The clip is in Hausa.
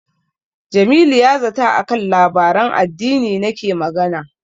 Jamilu ya zata a kan labaran addini nake magana.